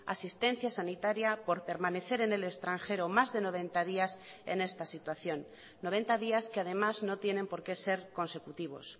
asistencia sanitaria por permanecer en el extranjero más de noventa días en esta situación noventa días que además no tienen por que ser consecutivos